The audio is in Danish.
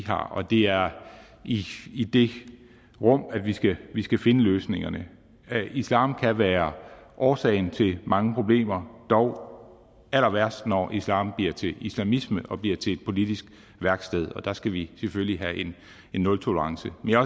har og det er i det rum at vi skal vi skal finde løsningerne islam kan være årsagen til mange problemer dog allerværst når islam bliver til islamisme og bliver til et politisk værksted der skal vi selvfølgelig have en nultolerance men jeg